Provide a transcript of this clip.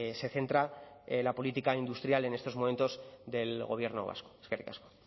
se centra la política industrial en estos momentos del gobierno vasco eskerrik asko